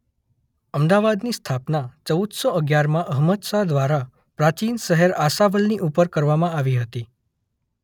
અમદાવાદની સ્થાપના ચૌદ સો અગિયારમાં અહમદશાહ દ્વારા પ્રાચીન શહેર આશાવલની ઉપર કરવામાં આવી હતી.